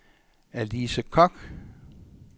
Alice Kock